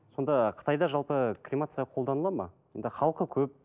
сонда қытайда жалпы кремация қолданылады ма енді халқы көп